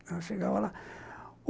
Ela chegava lá.